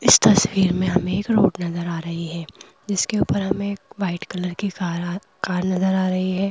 इस तस्वीर में हमें एक रोड नज़र आ रही है जिसके ऊपर हमें वाइट कलर की कार कार नज़र आ रही है।